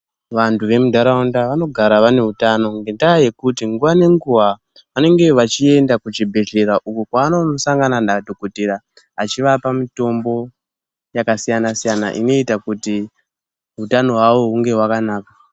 Vantu vemundaraunda vanogara vane hutano ngenda yekuti nguwa ngenguwa vanenge vachienda kuchibhedhlera uko kwanosangana nadhokodheya achivapa mitombo yakasiyana siyana inoita kuti hutano hunge hwakanaka.